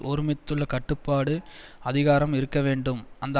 ஒருமித்துள்ள கட்டுப்பாட்டு அதிகாரம் இருக்க வேண்டும் அந்த